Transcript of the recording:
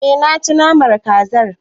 E, naci naman kazar.